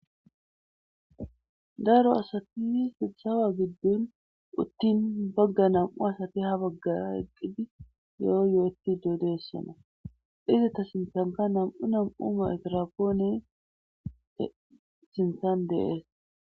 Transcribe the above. Daro asatii sitsawa giddun uttin bagga nam,u asati ha baggara eqqidi yoo yo,oyti doodeessona dhizata sintanka nam,u nam,u ma etrapoone sinsan deees.